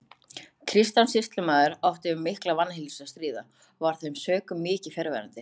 Kristján sýslumaður átti við mikla vanheilsu að stríða og var af þeim sökum mikið fjarverandi.